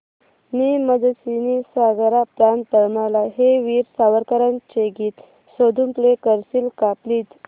ने मजसी ने सागरा प्राण तळमळला हे वीर सावरकरांचे गीत शोधून प्ले करशील का प्लीज